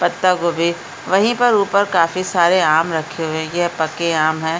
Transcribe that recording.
पत्ता गोभी वहीं पर ऊपर काफ़ी सारे आम रखे हुए हैं यह पके आम हैं।